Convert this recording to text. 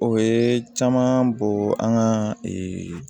O ye caman bɔ an ka